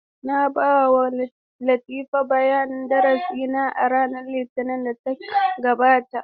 Na ba wa Latifa bayanin darasi na a ranar Litinin da ta gabata.